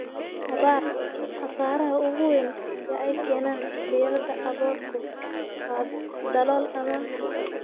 abaar. Khasaaraha ugu weyn ee ay keenaan diirrada aboorku waa dalool ama